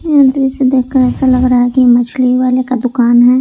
यह दृश्य देखकर ऐसा लग रहा है कि मछली वाले का दुकान है।